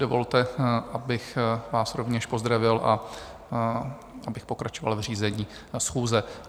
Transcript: Dovolte, abych vás rovněž pozdravil a abych pokračoval v řízení schůze.